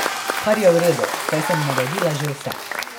Kar je v redu, saj sem naredila že vse.